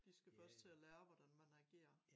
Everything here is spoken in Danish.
De skal først til at lære hvordan man agerer